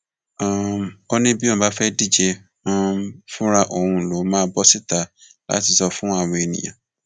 um ó ní bí òun bá fẹẹ díje um fúnra òun lòún máa bọ síta láti sọ fún àwọn èèyàn